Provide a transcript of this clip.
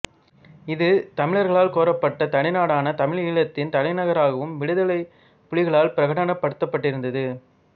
இது தமிழர்களால் கோரப்பட்ட தனிநாடான தமிழீழத்தின் தலைநகராகவும் விடுதலைப் புலிகளால் பிரகடனப் படுத்தப்பட்டிருந்தது